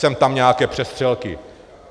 Sem tam nějaké přestřelky.